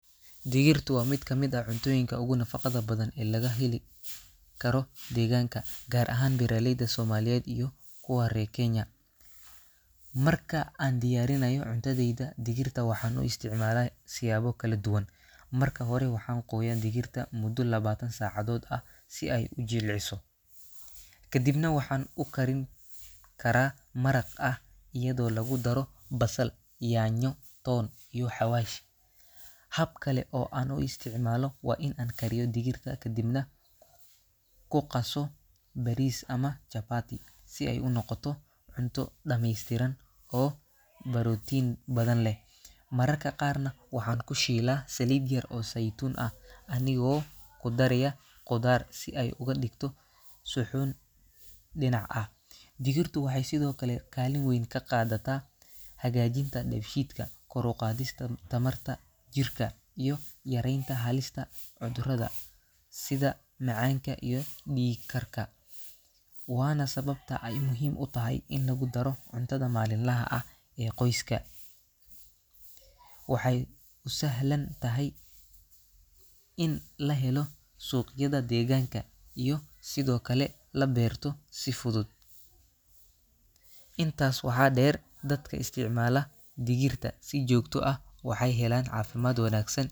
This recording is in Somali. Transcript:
Digirtu waa mid ka mid ah cuntooyinka ugu nafaqada badan ee laga heli karo deegaanka, gaar ahaan beeraleyda Soomaaliyeed iyo kuwa reer Kenya. Marka aan diyaarinayo cuntadayda, digirta waxaan u isticmaalaa siyaabo kala duwan. Marka hore, waxaan qooyaa digirta muddo labaatan saacadood ah si ay u jilciso. Kadibna waxaan ku karin karaa maraq ah iyadoo lagu daro basal, yaanyo, toon iyo xawaash. Hab kale oo aan u isticmaalo waa in aan kariyo digirta kaddibna ku qaso bariis ama chapati si ay u noqoto cunto dhameystiran oo borotiin badan leh. Mararka qaarna waxaan ku shiilaa saliid yar oo saytuun ah anigoo ku daraya khudaar si ay uga dhigto suxuun dhinac ah. Digirtu waxay sidoo kale kaalin weyn ka qaadataa hagaajinta dheef-shiidka, kor u qaadista tamarta jirka, iyo yaraynta halista cudurrada sida macaanka iyo dhiigkarka. Waana sababta ay muhiim u tahay in lagu daro cuntada maalinlaha ah ee qoyskaga. Waxay u sahlan tahay in la helo suuqyada deegaanka iyo sidoo kale la beerto si fudud. Intaas waxaa dheer, dadka isticmaala digirta si joogto ah waxay helaan caafimaad wanaagsan.